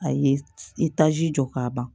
A ye i taji jɔ k'a ban